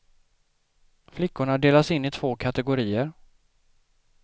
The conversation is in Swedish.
Flickorna delas in i två kategorier.